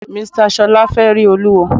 Mr Ṣọla fẹ rí Olúwo.